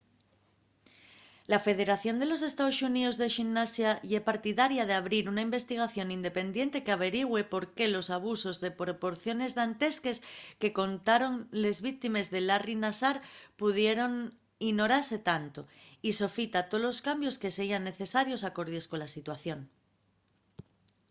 la federación de los estaos xuníos de ximnasia ye partidaria d'abrir una investigación independiente qu'averigüe por qué los abusos de proporciones dantesques que contaron les víctimes de larry nassar pudieron inorase tanto y sofita tolos cambios que seyan necesarios alcordies cola situación